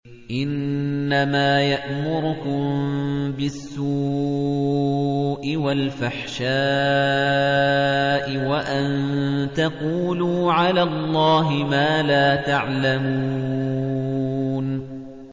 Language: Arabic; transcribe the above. إِنَّمَا يَأْمُرُكُم بِالسُّوءِ وَالْفَحْشَاءِ وَأَن تَقُولُوا عَلَى اللَّهِ مَا لَا تَعْلَمُونَ